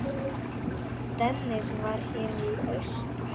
Dennis var hér í austur.